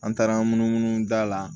An taara munu munu munu da la